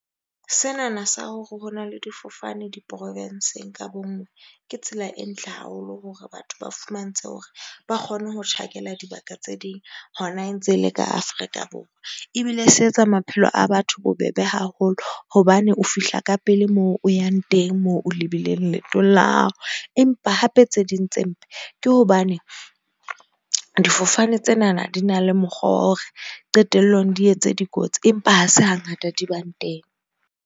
Sena na sa hore ho na le difofane di-province-ng ka bonngwe. Ke tsela e ntle haholo hore batho ba fumantshe hore ba kgone ho tjhakela dibaka tse ding. Hona e ntse e le ka Afrika Borwa. Ebile se etsa maphelo a batho bobebe haholo hobane o fihla ka pele moo o yang teng, moo o lebileng leetong la hao. Empa hape tse ding tse mpe ke hobane difofane tsena na di na le mokgwa wa hore qetellong di etse dikotsi, empa ha se ha ngata di bang teng.